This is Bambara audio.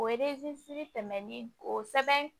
O tɛmɛnni o sɛbɛn